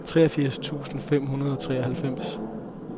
treogfirs tusind fem hundrede og treoghalvfems